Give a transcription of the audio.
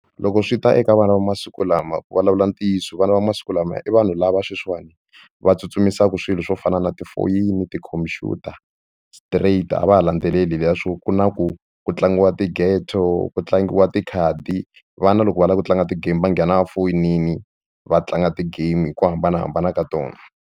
Loko swi ta eka vana va masiku lama ku vulavula ntiyiso vana va masiku lama i vanhu lava sweswiwani va tsutsumisa ku swilo swo fana na tifoyini tikhompyuta straight a va ha landzeleli leswiya swo ku na ku ku tlangiwa tigeto ku tlangiwa tikhadi vana loko va lava ku tlanga ti-game va nghena va foyinini va tlanga ti-game hi ku hambanahambana ka tona.